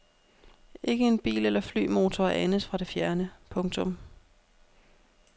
Ikke en bil eller flymotor anes fra det fjerne. punktum